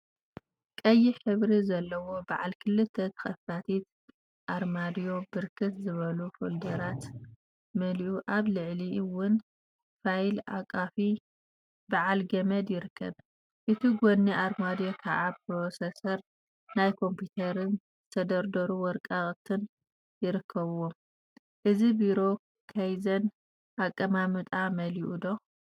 ቀይሕ ሕብሪ ዘለዋ በዓል ክልተ ተከፋቲት አርማድዮ ብርክት ዝበሉ ፎልዶራት መሊአ አብ ልዕሊአ እውን ፋይል አቃፊ በዓል ገመድ ይርከብ፡፡ በቲ ጎኒ አርማድዮ ከዓ ፕሮሰሰር ናይ ኮምፒተርን ዝተደርደሩ ወረቃቅቲን ይርከቡዎም፡፡ እዚ ቢሮ ካይዘን አቀማምጣ አማሊኡ ዶ?